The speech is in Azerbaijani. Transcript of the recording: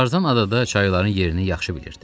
Tarzan adada çayların yerini yaxşı bilirdi.